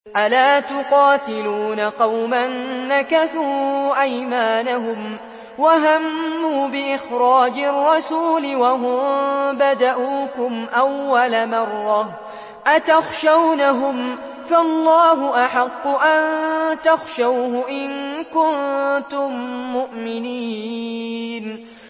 أَلَا تُقَاتِلُونَ قَوْمًا نَّكَثُوا أَيْمَانَهُمْ وَهَمُّوا بِإِخْرَاجِ الرَّسُولِ وَهُم بَدَءُوكُمْ أَوَّلَ مَرَّةٍ ۚ أَتَخْشَوْنَهُمْ ۚ فَاللَّهُ أَحَقُّ أَن تَخْشَوْهُ إِن كُنتُم مُّؤْمِنِينَ